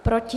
Proti?